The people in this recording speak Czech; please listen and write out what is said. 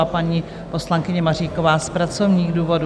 A paní poslankyně Maříková z pracovních důvodů.